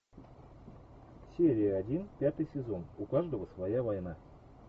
серия один пятый сезон у каждого своя война